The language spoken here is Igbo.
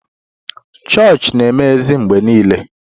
Chọọchị na-emeghe mgbe niile.